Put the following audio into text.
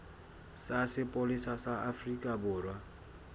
sa sepolesa sa afrika borwa